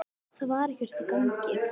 Það var ekkert í gangi.